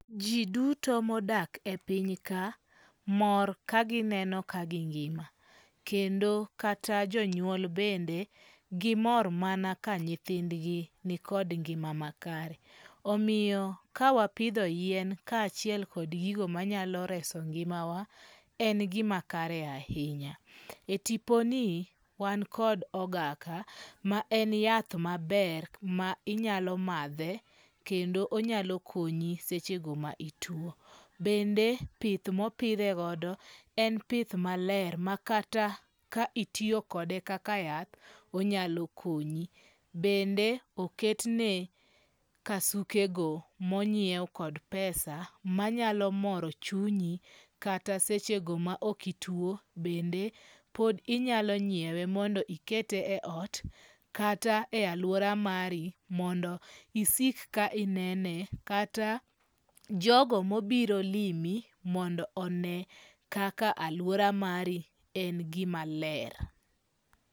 Ji duto modak e piny ka, mor ka gineno ka gingima, kendo kata jonyuol bende gimor mana ka nyithindgi nikod ngi'ma makare, omiyo kawapitho yien kachiel kod gigo manyalo reso ngi'mawa en gimakare ahinya, e tiponi wan kod ogaka ma en yath maber ma inyalo mathe kendo onyalo konyi sechego ma itwo, bende pith ma opithegodo en pith maler ma kata ka itiyokode kaka yath onyalo konyi, bende oketne kasukego monyiew kod pesa manyalo moro chunyi kata sechego ma okitwo bende pod inyalo nyiewe mondo ikete e ot kata e aluora mari mondo isik ka inene, kata jogo mobiro limi mondo one kaka aluora mari en gimaler